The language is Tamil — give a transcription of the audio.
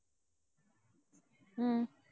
உம்